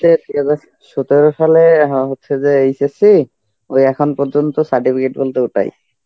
সতেরো সালে অ্যাঁ হচ্ছে যে HSC ওই এখন পর্যন্ত certificate বলতে ওটাই.